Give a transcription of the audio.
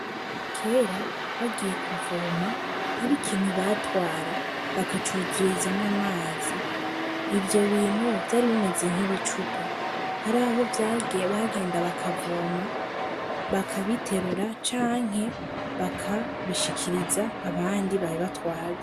Kera bagiye kuvoma ari ikintu batwara bakacuzurizamwo amazi ivyo bintu vyari bimeze nk'ibicupa ari aho vbagenda bakavoma bakabiterura canke bakabishikiriza abandi babe batwaze.